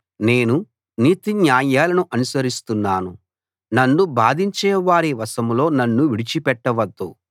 నేను నీతిన్యాయాలను అనుసరిస్తున్నాను నన్ను బాధించేవారి వశంలో నన్ను విడిచిపెట్టవద్దు